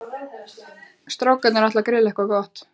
Strákarnir ætla að grilla eitthvað gott.